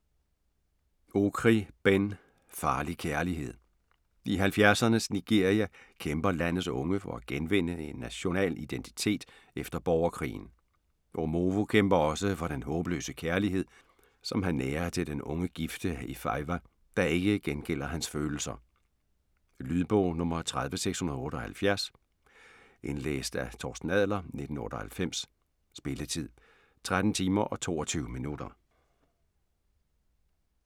Okri, Ben: Farlig kærlighed I 70'ernes Nigeria kæmper landets unge for at genvinde en national identitet efter borgerkrigen. Omovo kæmper også for den håbløse kærlighed, han nærer til den unge gifte Ifeyiwa, der ikke gengælder hans følelser. Lydbog 30678 Indlæst af Torsten Adler, 1998. Spilletid: 13 timer, 22 minutter.